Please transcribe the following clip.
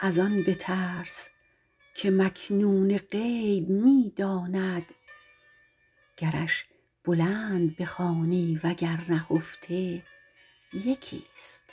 از آن بترس که مکنون غیب می داند گرش بلند بخوانی وگر نهفته یکیست